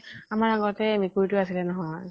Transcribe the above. আমাৰ আগতে মেকুৰী তো আছিলে নহয় ?